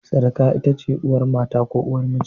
Sirika ita ce uwar mata ko uwar miji.